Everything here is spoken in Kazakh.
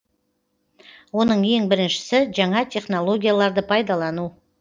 оның ең біріншісі жаңа технологияларды пайдалану